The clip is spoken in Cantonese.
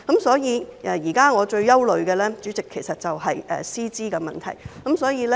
所以，主席，我現時最憂慮的就是師資的問題。